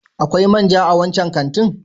Akwai man ja a wancan kantin?